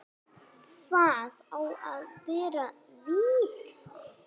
Það á að vera vita.